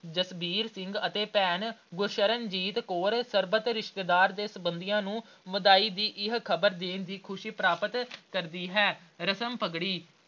ਜਸਵੀਰ ਸਿੰਘ ਅਤੇ ਭੈਣ ਗੁਰਸ਼ਰਨਜੀਤ ਕੌਰ ਸਰਬਤ ਰਿਸ਼ਤੇਦਾਰ ਤੇ ਸਬੰਧੀਆਂ ਨੂੰ ਵਧਾਈ ਦੀ ਇਹ ਖ਼ਬਰ ਦੇਣ ਦੀ ਖੁਸ਼ੀ ਪ੍ਰਾਪਤ ਕਰਦੀ ਹੈ ਰਸਮ ਪਗੜੀ